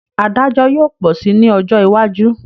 Adájọ́ yóò pọ̀ si ní ọjọ́ iwájú